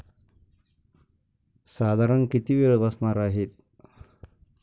साधारण किती वेळ बसणार आहेत?